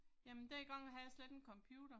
Jamen dengang havde jeg slet ikke computer